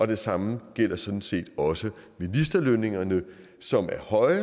det samme gælder sådan set også ministerlønningerne som er høje